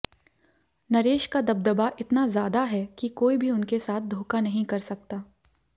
नरेश का दबदबा इतना ज्यादा है कि कोई भी उनके साथ धोखा नहीं कर सकता